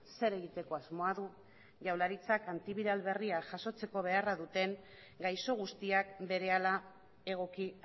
zer egiteko asmoa du jaurlaritzak antibiral berria jasotzeko beharra duten gaixo guztiak berehala egoki